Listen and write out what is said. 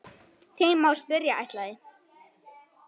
Því má spyrja: ætlaði